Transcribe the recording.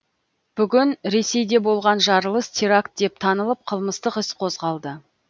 бүгін ресейде болған жарылыс теракт деп танылып қылмыстық іс қозғалды